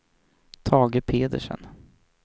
Tage Pedersen